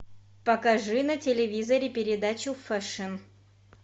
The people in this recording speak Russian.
покажи на телевизоре передачу фэшн